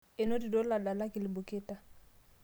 enotito iladalak ilbuketa